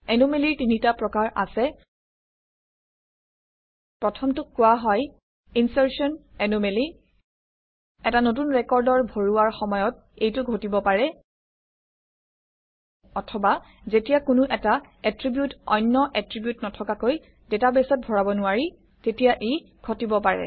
এনোমেলিৰ তিনিটা প্ৰকাৰ আছে প্ৰথমটোক কোৱা হয় ইনচাৰ্টন এনোমেলি এটা নতুন ৰেকৰ্ড ভৰোৱাৰ সময়ত এইটো ঘটিব পাৰে অথবা যেতিয়া কোনো এটা এট্ৰিবিউট অন্য এট্ৰিবিউট নথকাকৈ ডাটাবেছত ভৰাব নোৱাৰি তেতিয়া ই ঘটিব পাৰে